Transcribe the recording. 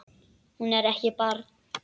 Hún er ekki barn.